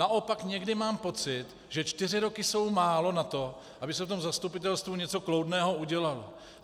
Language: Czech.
Naopak někdy mám pocit, že čtyři roky jsou málo na to, aby se v tom zastupitelstvu něco kloudného udělalo.